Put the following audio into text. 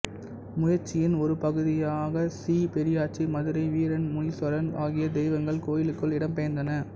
முயற்சியின் ஒரு பகுதியாக ஸ்ரீ பெரியாச்சி மதுரை வீரன் முனீஸ்வரன் ஆகிய தெய்வங்கள் கோயிலுக்குள் இடம் பெயர்ந்தன